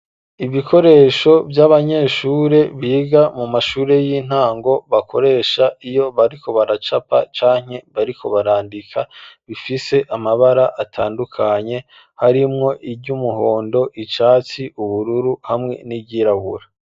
Ibikoresho vy'abanyeshure biga mu mashuri y'intango bakoresha iyo bariko baracapa canke bariko barandika ,bifise amabara atandukanye harimwo iry'umuhondo, icatsi ,ubururu hamwe n'iryirabura.